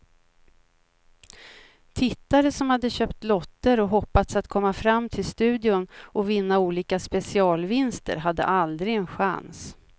Tittare som hade köpt lotter och hoppats att komma fram till studion och vinna olika specialvinster hade aldrig en chans.